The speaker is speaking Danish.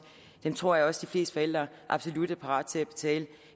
tror jeg også fleste forældre absolut er parate til